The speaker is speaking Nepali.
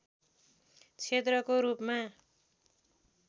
क्षेत्रको रूपमा